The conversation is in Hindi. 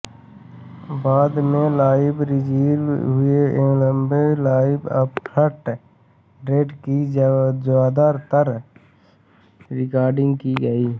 बाद में लाइव रिलीज हुए ऐल्बम लाइव आफ्टर डेथ की ज्यादातर रिकार्डिंग की गयी